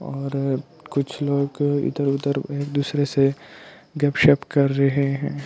और कुछ लोग इधर उधर एक दूसरे से गप शप कर रहे है।